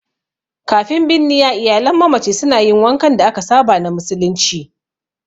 Kafin binniya, iyalan mamaci suna yin wankan da aka saba na musulunci.